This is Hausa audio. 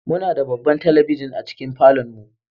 Muna da babban talabijin a cikin falon mu.